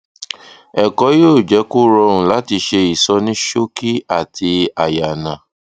ẹkọ yóò jẹ kó rọrùn láti se ìsọníṣókí àti àyànà